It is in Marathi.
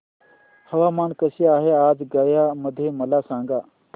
हवामान कसे आहे आज गया मध्ये मला सांगा